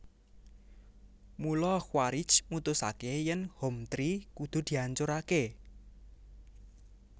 Mula Quaritch mutusaké yèn Hometree kudu diancuraké